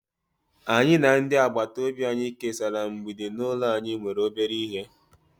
anyi na ndi agbata obi anyi kesara mgbidi n'ulo anyi nwere obere ihe